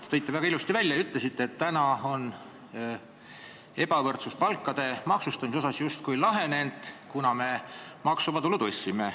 Te tõite selle väga ilusasti välja ja ütlesite, et nüüd on palkade maksustamise ebavõrdsuse probleem justkui lahenenud, kuna me maksuvaba tulu hüppeliselt tõstsime.